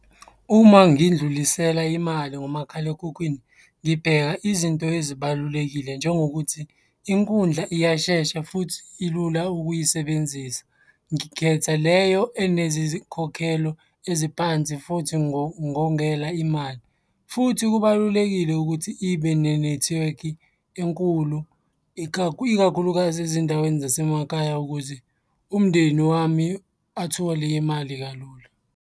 Uma ngidlulisela imali ngomakhalekhukhwini, ngibheka izinto ezibalulekile njengokuthi inkundla iyashesha futhi ilula ukuyisebenzisa. Ngikhetha leyo enezikhokhelo eziphansi futhi ngongela imali, futhi kubalulekile ukuthi ibe nenethiwekhi enkulu ikakhulukazi ezindaweni zasemakhaya ukuze umndeni wami athole imali kalula.